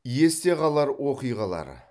есте қалар оқиғалар